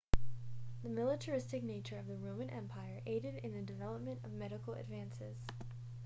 the militaristic nature of the roman empire aided in the development of medical advances